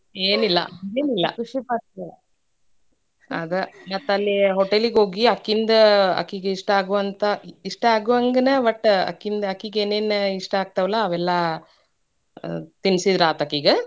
ಏನಿಲ್ಲಾ ಹಂಗೆನಿಲ್ಲಾ ಅದ ಮತ್ತ ಅಲ್ಲೇ hotel ಗೆ ಹೋಗಿ ಆಕಿಂದ್ ಆಕಿಗೆ ಇಷ್ಟಾ ಆಗೋ ಅಂತಾ ಇಷ್ಟಾ ಆಗೋ ಹಂಗ ವಟ್ ಆಕಿ~ಆಕಿಗೆ ಏನೇನ ಇಷ್ಟಾ ಆಗ್ತಾವಲಾ ಅವೆಲ್ಲಾ ತಿನ್ಸಿದ್ರ ಆತ್ ಆಕಿಗೆ.